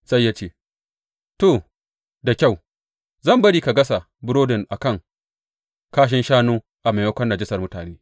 Sai ya ce, To da kyau, zan bari ka gasa burodin a kan kashin shanu a maimakon najasar mutane.